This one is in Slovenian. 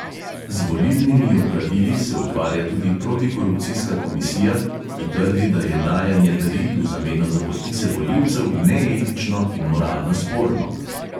Z volilnimi opravili se ukvarja tudi protikorupcijska komisija, ki trdi, da je dajanje daril v zameno za podpise volivcev neetično in moralno sporno.